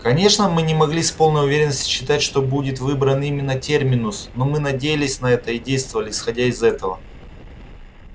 конечно мы не могли с полной уверенностью считать что будет выбран именно терминус но мы надеялись на это и действовали исходя из этого